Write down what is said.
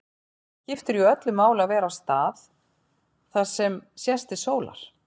Það skiptir jú öllu máli að vera á stað þar sem sést til sólar.